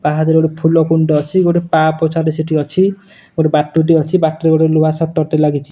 ପାହାଚରେ ଗୋଟେ ଫୁଲ କୁଣ୍ଡ ଟେ ଅଛି। ଗୋଟେ ପା ପୋଛା ଟେ ସେଠି ଅଛି। ଗୋଟେ ବଟୁଟିଏ ଅଛି ବାଟରେ ଗୋଟେ ଲୁହା ସଟର୍ ଟେ ଲାଗିଛି।